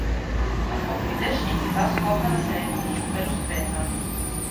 Lahko prideš in ti dva skoka na treningu super uspeta.